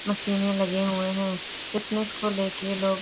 मशीने लगे हुए है फिटनेस को लेके लोग --